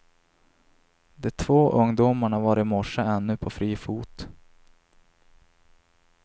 De två ungdomarna var i morse ännu på fri fot.